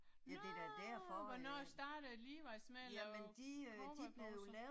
Nåh hvornår startede Levi's med at lave cowboybukser?